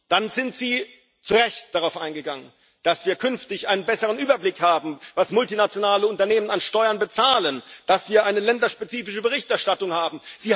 Dann sind Sie zu Recht darauf eingegangen, dass wir künftig einen besseren Überblick haben, was multinationale Unternehmen an Steuern bezahlen, dass wir eine länderspezifische Berichterstattung haben.